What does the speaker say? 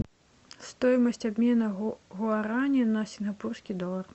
стоимость обмена гуарани на сингапурский доллар